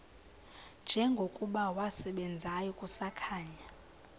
njengokuba wasebenzayo kusakhanya